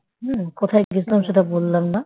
হুঁ কোথায় গেছিলাম সেটা বললাম না